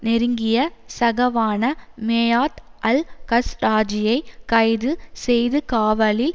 நெருங்கிய சகாவான மேயாத் அல் கஸ்ராஜியை கைது செய்துகாவலில்